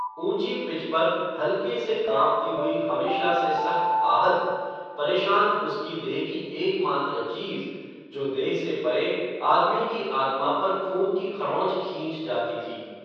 ऊंची पिच पर, हल्के से कांपती हुई हमेशा से सख्त आहत, परेशान उसकी देह की एकमात्र चीज़, जो देह से परे, आदमी की आत्मा पर खून की खरोंच खींच जाती थी